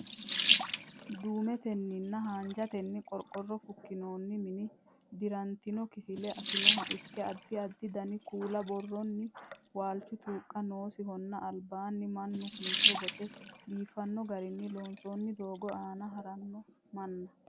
Duumetenninna haanjatenni qorqorro fukkinoonni mini dirantino kifilla afinoha ikke, addi addi dani kuula buurroonni waalchu tuuqqa noosihonna albaanni mannu kincho bonce biifanno garinni loonsoonni doogo aana haranno manna.